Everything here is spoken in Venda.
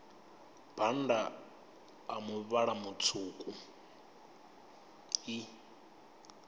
bannda a muvhala mutswuku i